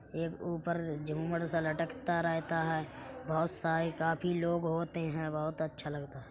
एक ऊपर झूमर सा लटकता रहता है। बहुत सारे काफी लोग होते हैं बहुत अच्छा लगता --